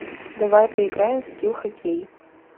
давай поиграем в скил хоккей